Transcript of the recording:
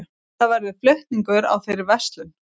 Það verður flutningur á þeirri verslun